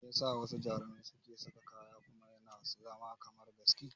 Mai yasa wasu jaruman suke sa kaya kuma yana zama kamar gaski?